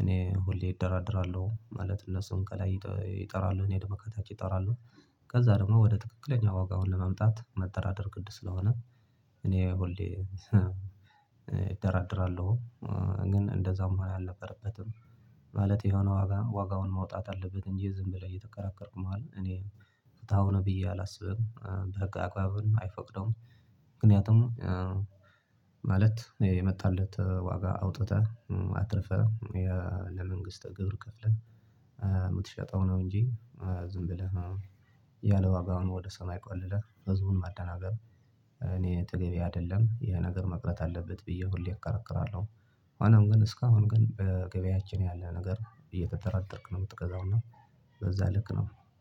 እኔ ሁሌ እደራደራለሁ ማለት እነሱም ከላይ ይጠራሉ እኔ ደሞ ከታች እጠራለው። ከዛ ደግሞ ወደ ትክክለኛ ዋጋውን ለመምጣት መደራደር ግድ ስለሆነ እኔ ሁሌ እደራደራለው። ግን እንደዛ መሆን አልነበረበትም። ማለት የሆነ ዋጋ ዋጋውን ማውጣት አለበት እንጂ ዝም ብለህ እየተከራከርክ መዋል እኔ ፍትሃዊ ነው ብዬ አላስብም በህግ አግባብም አይፈቅደውም። ምክንያቱም ማለት የመጣለት ዋጋ አውጥተህ አትርፈህ ለመንግስተ ግብር ከፍለህ የምትሸጠው ነው እንጂ ዝም ብለህ ያለ ዋጋው ወደ ሰማይ ቆልለህ ህዝቡን ማደናገር። እኔ ተገቢ አይደለም ይሄ ነገር መቅረት አለበት ብዬ ሁሌ እከራከራለው። ሆኖም ግን እስካሁን ግን ገበያችን ያለ ነገር እየተደራደርክ ነው የምትገዛው እና በዛ ልክ ነው።